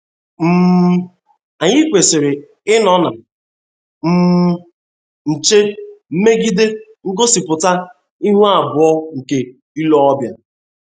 um Anyị kwesịrị ịnọ na um nche megide ngosipụta ihu abụọ nke ile ọbịa.